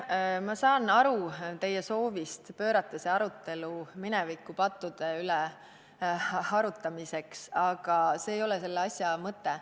Ma saan aru teie soovist pöörata see arutelu minevikupattude üle arutamiseks, aga see ei ole asja mõte.